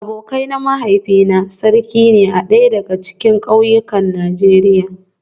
Abokai na mahaifina sarki ne a daya daga cikin kauyukan Najeriya